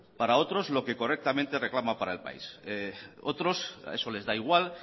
para otros lo que correctamente reclama para el país otros eso les da igual